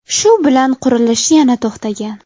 Shu bilan qurilish yana to‘xtagan.